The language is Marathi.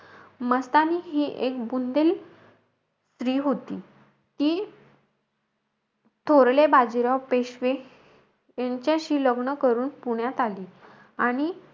मस्तानी हि एक बुंदेल स्त्री होती. ती थोरले बाजीराव पेशवे यांच्याशी लग्न करून पुण्यात आली. आणि,